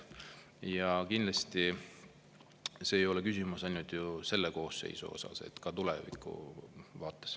Ja kindlasti see ei ole küsimus ainult selle koosseisu puhul, vaid ka tuleviku vaates.